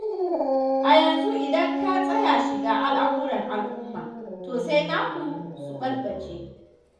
A yanzu idan ka tsaya shiga al'amuran al'uma, to sai naka su ɓalɓalce.